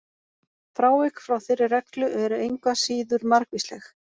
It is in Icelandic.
Frávik frá þeirri reglu eru engu að síður margvísleg.